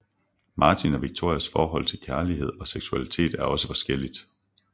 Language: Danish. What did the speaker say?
Martin og Victorias forhold til kærlighed og seksualitet er også forskelligt